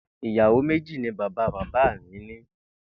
Ìyàwó méjì ni bàbá bàbá mi ní